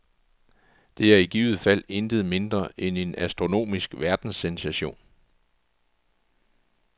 Det er i givet fald intet mindre end en astronomisk verdenssensation.